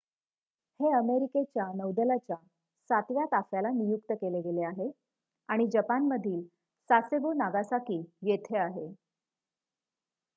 हे अमेरिकेच्या नौदलाच्या सातव्या ताफ्याला नियुक्त केले गेले आहे आणि जपानमधील सासेबो नागासाकी येथे आहे